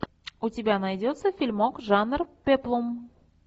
у тебя найдется фильмок жанр пеплум